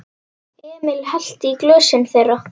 Emil hellti í glösin þeirra.